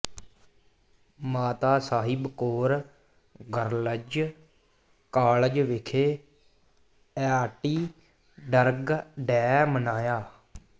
ਮਾਤਾ Sahib Kaur girls college ਵਿਖੇ anti drug day ਮਨਾਇਆ